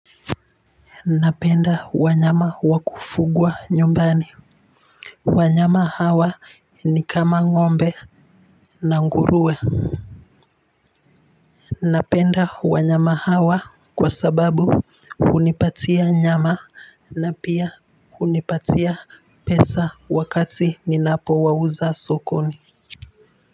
Napenda wanyama wa kufugwa nyumbani wanyama hawa ni kama ngombe na ngurue napenda wanyama hawa kwa sababu unipatia nyama na pia hunipatia pesa wakati ninapowauza sokoni.